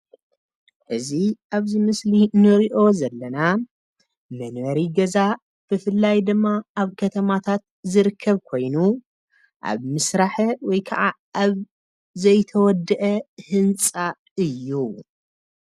እዚ ኣብዚ ምስሊ ንሪኦ ዘለና መንበሪ ገዛ ብፍላይ ድማ ኣብ ከተማታት ዝርከብ ኮይኑ ኣብ ምስራሕ ወይ ኣብ ዘይተወድአ ህንፃ እዩ፡፡